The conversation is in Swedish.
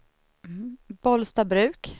Bollstabruk